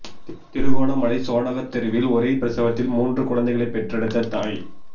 திருகோணமலை சோனகத் தெருவில் ஒரே பிரசவத்தில் மூன்று குழந்தைகளைப் பெற்றெடுத்த தாய்